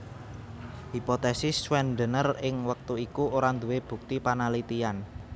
Hipotesis Schwendener ing wektu iku ora nduwé bukti panalitiyan